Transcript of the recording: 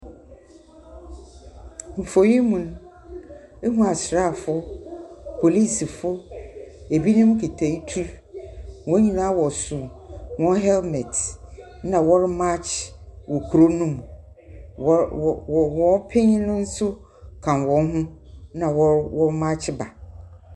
Mfoni yi mu no mehu asrafo polisifo ebinom kita tu wonyinaa wɔhyɛ won helmet na wɔre makye kurow no mu wɔn panyin no nso ka wo ho na wɔ makye ba.